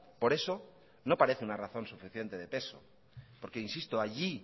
por eso no parece una razón suficiente de peso porque insisto allí